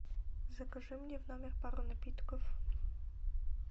закажи мне в номер пару напитков